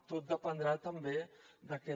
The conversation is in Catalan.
tot dependrà també d’aquest